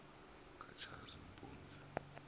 katshazimpunzi